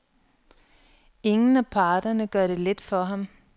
Ingen af parterne gør det let for ham.